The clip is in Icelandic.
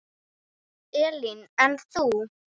Elín: En þú?